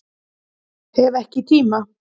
Hef ekki tíma